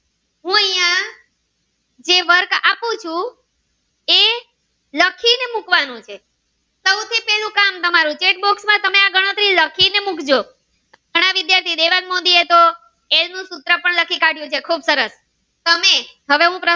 એ લખી ને મુકવાનું છે સૌથી પેલું કામ તમારું chet box માં તમે આ ગણતરી લખી ને મુકજો ઘણા વિદ્યાર્થી નો એ દેવાંગ મોદી એ તો એનું સૂત્ર પણ લખી કાઢ્યું છે ખુબ સરસ તમે હવે હું પ્રશ્ર્ન